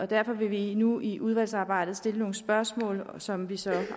derfor vil vi nu i udvalgsarbejdet stille nogle spørgsmål som vi så